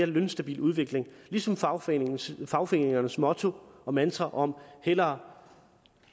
lønstabil udvikling ligesom fagforeningernes fagforeningernes motto og mantra om hellere